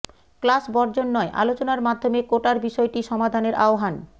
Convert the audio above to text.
class বর্জন নয় আলোচনার মাধ্যমে কোটার বিষয়টি সমাধানের আহ্বান